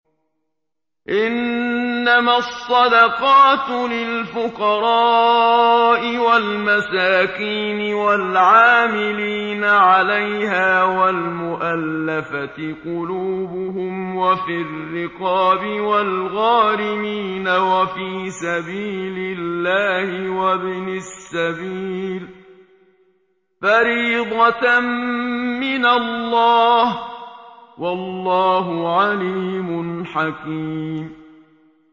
۞ إِنَّمَا الصَّدَقَاتُ لِلْفُقَرَاءِ وَالْمَسَاكِينِ وَالْعَامِلِينَ عَلَيْهَا وَالْمُؤَلَّفَةِ قُلُوبُهُمْ وَفِي الرِّقَابِ وَالْغَارِمِينَ وَفِي سَبِيلِ اللَّهِ وَابْنِ السَّبِيلِ ۖ فَرِيضَةً مِّنَ اللَّهِ ۗ وَاللَّهُ عَلِيمٌ حَكِيمٌ